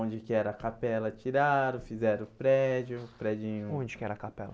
Onde que era a capela, tiraram, fizeram o prédio, o predinho... Onde que era a capela?